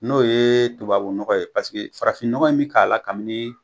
N'o ye tubabu nɔgɔ ye paseke farafinnɔgɔ in mi k'a la kamini